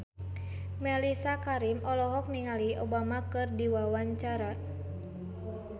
Mellisa Karim olohok ningali Obama keur diwawancara